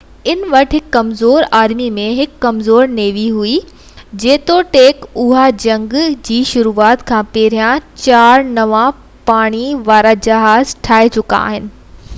ان وٽ هڪ ڪمزور آرمي ۽ هڪ ڪمزور نيوي هئي جيتوڻيڪ اهي جنگ جي شروعات کان پهريان چار نوان پاڻي وارا جهاز ٺاهي چڪا هئا